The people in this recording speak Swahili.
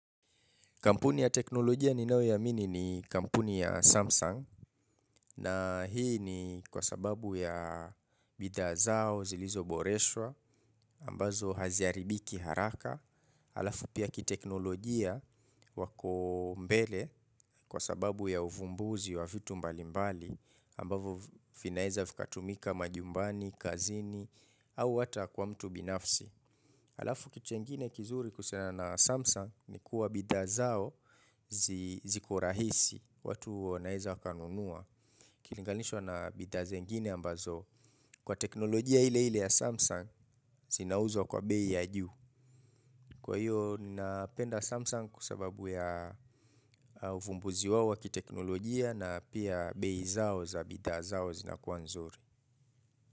Kampuni ya teknolojia ninao yaamini ni kampuni ya Samsung na hii ni kwa sababu ya bidhaa zao zilizoboreshwa ambazo haziaribiki haraka. Halafu pia kiteknolojia wako mbele kwa sababu ya uvumbuzi wa vitu mbalimbali ambazo vinaeza vikatumika majumbani, kazini au hata kwa mtu binafsi. Halafu kitu kingine kizuri kuhusiana na Samsung ni kuwa bidhaa zao zikorahisi watu wanaeza wakanunua. Ikilinganishwa na bidhaa zingine ambazo. Kwa teknolojia ile ile ya Samsung, zinauzwa kwa bei ya juu. Kwa hiyo, ninapenda Samsung kwa sababu ya uvumbuzi wao wa kiteknolojia na pia bei zao za bidhaa zao zinakua nzuri.